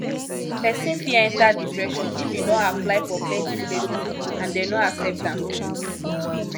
persin fit enter depression if im don apply for plenty places and dem no accept am